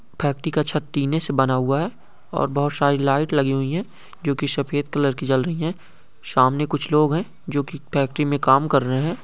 Factory का छत टीने से बना हुआ है और बहोत शारी लाइट लगी हुई हैं जो की शफ़ेद कलर की जल रही हैं शामने कुछ लोग है जो की फेक्टरी में काम कर रहैं हैं।